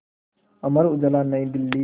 Amar Ujala New Delhi